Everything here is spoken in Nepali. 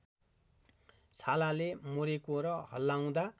छालाले मोरेको र हल्लाउँदा